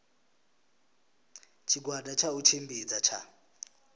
tshigwada tsha u tshimbidza tsha